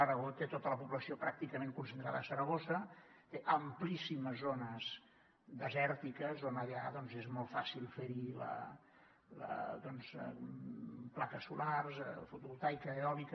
aragó té tota la població pràcticament concentrada a saragossa té amplíssimes zones desèrtiques on allà és molt fàcil ferhi plaques solars fotovoltaica eòlica